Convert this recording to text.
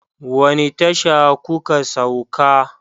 Wani tasha ku ka sauka?